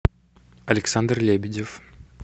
александр лебедев